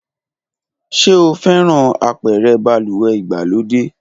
Ṣe o fẹran apẹrẹ baluwe igbalode?